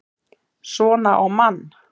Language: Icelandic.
SVONA Á MANN!